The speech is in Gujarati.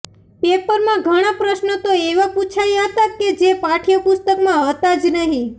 પેપરમાં ઘણા પ્રશ્નો તો એવા પૂછાયા હતા કે જે પાઠ્ય પુસ્તકમાં હતા જ નહીં